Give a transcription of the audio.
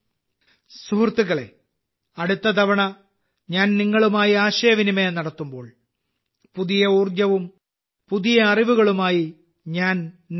സുഹൃത്തുക്കളേ അടുത്ത തവണ ഞാൻ നിങ്ങളുമായി ആശയവിനിമയം നടത്തുമ്പോൾ പുതിയ ഊർജ്ജവും പുതിയ അറിവുകളുമായി ഞാൻ നിങ്ങളെ കാണും